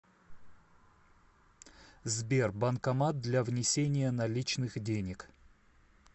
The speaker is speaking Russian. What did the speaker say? сбер банкомат для внесения наличных денег